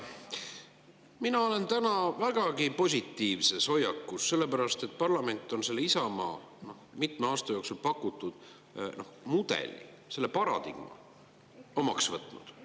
Mina olen täna vägagi positiivse hoiakuga, sellepärast et parlament on selle Isamaa mitme aasta jooksul pakutud mudeli, selle paradigma omaks võtnud.